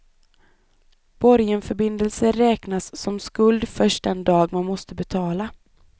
Borgenförbindelser räknas som skuld först den dag man måste betala.